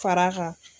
Fara kan